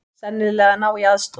Sennilega að ná í aðstoð.